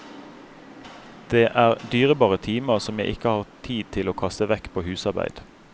Det er dyrebare timer som jeg ikke har tid til å kaste vekk på husarbeid.